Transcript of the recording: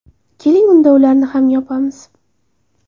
Keling, unda ularni ham yopamiz!